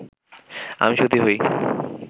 আমি সতী হই